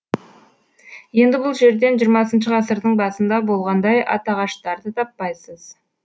енді бұл жерден хх ғасырдың басында болғандай атағаштарды таппайсыз